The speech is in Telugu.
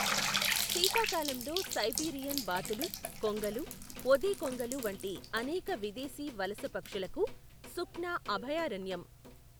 శీతాకాలంలో సైబీరియన్ బాతులు, కొంగలు, ఓదెకొంగలు వంటి అనేక విదేశీ వలస పక్షులకు సుఖ్నా అభయారణ్యం.